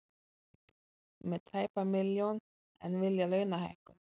Með tæpa milljón en vilja launahækkun